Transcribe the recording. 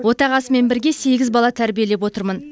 отағасымен бірге сегіз бала тәрбиелеп отырмын